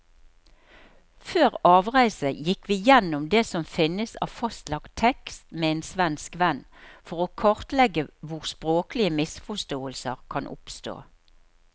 Før avreise gikk vi gjennom det som finnes av fastlagt tekst med en svensk venn, for å kartlegge hvor språklige misforståelser kan oppstå.